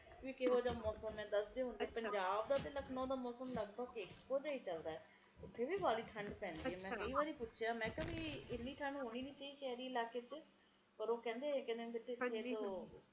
ਅਬਾਦੀ ਵੀ ਇੰਨੀ ਵਧੀ ਜਾਂਦੀ ਕਿ ਲੋਕਾਂ ਨੇ ਰੋਜ਼ੀ ਰੋਟੀ ਵੀ ਕਮਾਉਣੀ ਲੋਕੀ ਕਿ ਕਰਨਗੇ ਜੇ ਕੰਮ ਧੰਦਾ ਨਾ ਹੋਊਗਾ ਤਾ ਫਿਰ ਬਹੁਤ ਔਖਾ ਹੋਊਗਾ